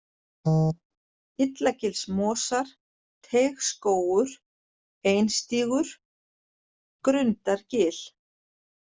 Illagilsmosar, Teigsskógur, Einstígur, Grundargil